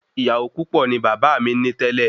Ìyàwó púpò ni bàbá mí ní tẹlẹ